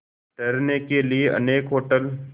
ठहरने के लिए अनेक होटल